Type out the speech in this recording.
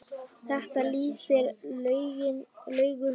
Þetta lýsir Laugu vel.